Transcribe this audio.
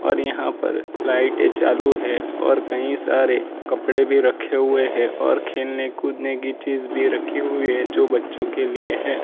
पर यहां पर लाइटे चालू है और कई सारे कपड़े भी रखे हुए है और खेलने कूदने की चीज भी रखी हुई है जो बच्चों के लिए है।